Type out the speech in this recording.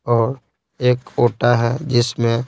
और एक ओटा है जिसमें--